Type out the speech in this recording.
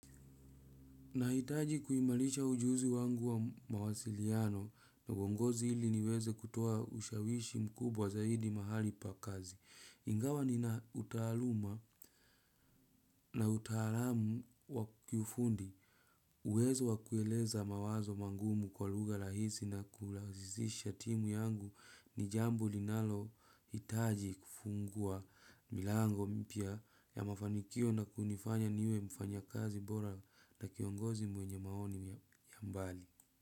Nahitaji kuimarisha ujuzi wangu wa mawasiliano na uongozi ili niweze kutoa ushawishi mkubwa zaidi mahali pa kazi. Ingawa nina utaaluma na utaalamu wa kiufundi uwezo wa kueleza mawazo magumu kwa lugha rahisi na kulazisha timu yangu ni jambo linalohitaji kufungua milango mpya ya mafanikio na kunifanya niwe mfanya kazi bora na kiongozi mwenye maoni ya mbali.